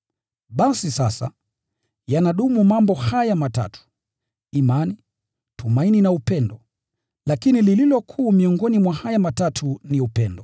Basi sasa, yanadumu mambo haya matatu: Imani, tumaini na upendo. Lakini lililo kuu miongoni mwa haya matatu ni upendo.